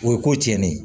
O ye ko tiɲɛnen ye